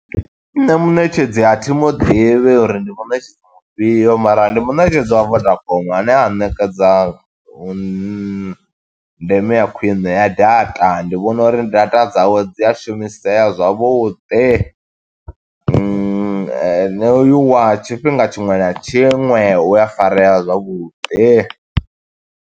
Nṋe muṋetshedzi a thimu ḓivhi uri ndi muṋetshedzi mufhio, mara ndi muṋetshedzi wa vodacom ane a ṋekedza vhun, ndeme ya khwiṋe ya data. Ndi vhona uri data dzawe dzi a shumisea zwavhuḓi wa tshifhinga tshiṅwe na tshiṅwe, u a farea zwavhuḓi.